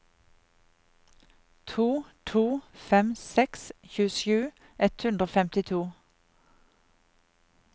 to to fem seks tjuesju ett hundre og femtito